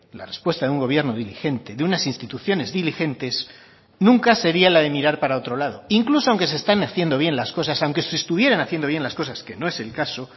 la respuesta de un gobierno diligente de unas instituciones diligentes nunca sería la de mirar para otro lado incluso aunque se están haciendo bien las cosas aunque se estuvieran haciendo bien las cosas que no es el caso